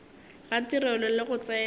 ga tirelo le go tsena